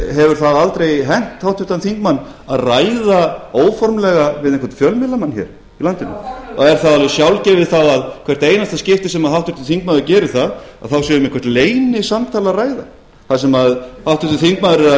hefur það aldrei hent háttvirtan þingmann að ræða óformlega við einhvern fjölmiðlamann hér í landinu er það alveg sjálfgefið þá að í hvert einasta skipti sem háttvirtur þingmaður gerir það sé um eitthvert leynisamtal að ræða þar sem háttvirtur þingmaður er að